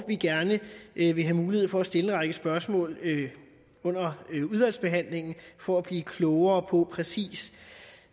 vi gerne vil vil have mulighed for at stille en række spørgsmål under udvalgsbehandlingen for at blive klogere på præcis